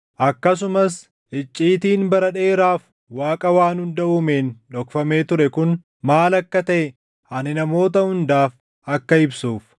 akkasumas icciitiin bara dheeraaf Waaqa waan hunda uumeen dhokfamee ture kun maal akka taʼe ani namoota hundaaf akka ibsuuf.